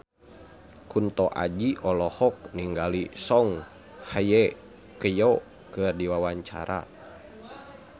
Kunto Aji olohok ningali Song Hye Kyo keur diwawancara